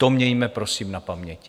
To mějme prosím na paměti.